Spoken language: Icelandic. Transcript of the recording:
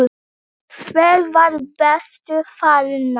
Hver var bestur þarna?